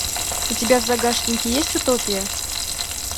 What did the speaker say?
у тебя в загашнике есть утопия